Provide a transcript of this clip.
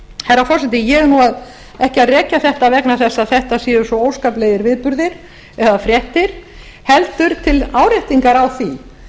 herra forseti ég er ekki að rekja þetta vegna þess að þetta séu svo óskaplegir viðburðir eða fréttir heldur til áréttingar á því